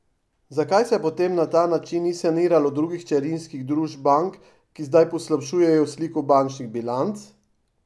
Zakaj se potem na ta način ni saniralo drugih hčerinskih družb bank, ki zdaj poslabšujejo sliko bančnih bilanc?